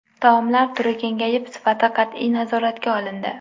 Taomlar turi kengayib, sifati qat’iy nazoratga olindi.